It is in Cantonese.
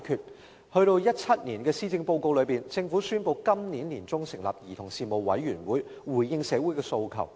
政府終於在2017年的施政報告中宣布，今年年中成立兒童事務委員會，以回應社會的訴求。